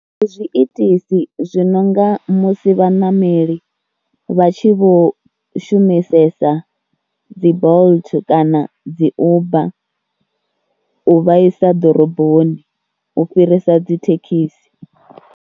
Ndi zwiitisi zwi no nga musi vhaṋameli vha tshi vho shumisesa dzi Bolt kana dzi Uber u vha isa ḓoroboni u fhirisa dzi thekhisi.